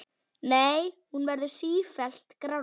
Nei, hún verður sífellt grárri.